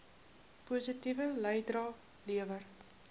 positiewe bydrae lewer